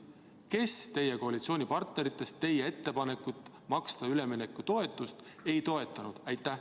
Kes teie koalitsioonipartneritest teie ettepanekut maksta üleminekutoetust ei toetanud?